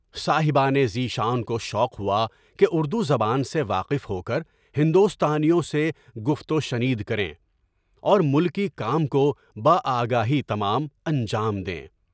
صاحبانِ ذی شان کو شوق ہوا کہ اردوزبان سے واقف ہو کر ہندوستانیوں سے گفتگو شنید کریں اور ملکی کام کو ب آگاہی تمام انجام دیں۔